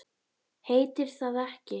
Heitir það ekki